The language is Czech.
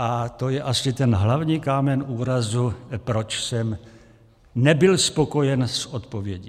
A to je asi ten hlavní kámen úrazu, proč jsem nebyl spokojen s odpovědí.